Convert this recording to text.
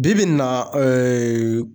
Bi bi in na